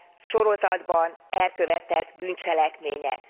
sorozatban elkövetett bűncselekmények.